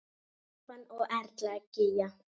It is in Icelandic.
Stefán og Erla Gígja.